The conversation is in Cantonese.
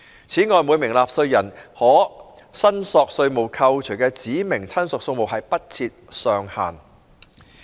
此外，每名納稅人可申索稅務扣除的指明親屬數目不設上限。